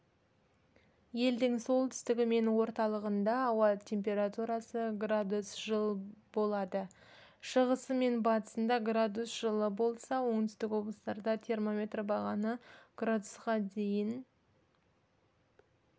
елдің солтүстігі мен орталығында ауа температурасы градус жыл болады шығысы мен батысында градус жылы болса оңтүстік облыстарда термометр бағаны градусқа дейін